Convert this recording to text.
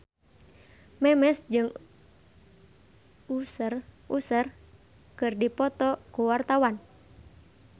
Memes jeung Usher keur dipoto ku wartawan